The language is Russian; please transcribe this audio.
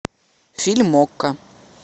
фильм окко